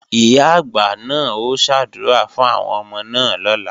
Ìyá-àgbà náà ó ṣàdúrà fún àwọn ọmọ náà lọ́la